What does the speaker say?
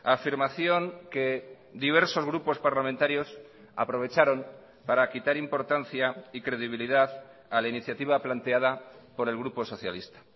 afirmación que diversos grupos parlamentarios aprovecharon para quitar importancia y credibilidad a la iniciativa planteada por el grupo socialista